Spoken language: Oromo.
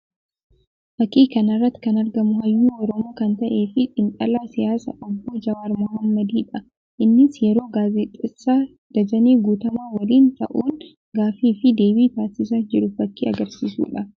Fakkii kana irratti kan argamu hayyuu Oromoo kan ta'ee fi xiinxalaa siyaasaa obbo Jawaar Mohammadii dha. Innis yeroo gaazexeessaa Dajanee Guutamaa waliin ta'uun gaaffii fi deebii taasisaa jiru fakkii agarsiisuu dha.